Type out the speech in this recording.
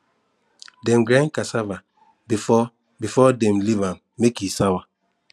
dem grind cassava before before dem leave am make e sour